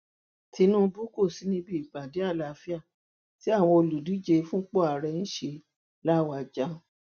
tinúbù kò sí níbi ìpàdé àlàáfíà tí àwọn olùdíje fúnpò ààrẹ ṣe làwájá